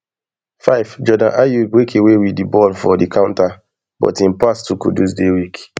fivejordan ayew break away wit di ball for di counter but im pass to kudus dey weak